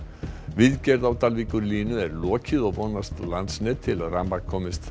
viðgerð á Dalvíkurlínu er lokið og vonast Landsnet til að rafmagn komist